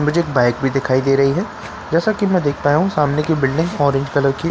मुझे एक बाइक भी दिखाई दे रही है जैसा की में देख पाया हूँ सामने की बिलडिंग ऑरेंज कलर की --